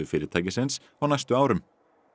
fyrirtækisins á næstu árum